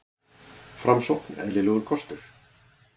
Framsókn eðlilegur kostur